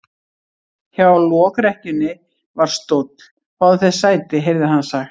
Hjá lokrekkjunni var stóll:-Fáðu þér sæti, heyrði hann sagt.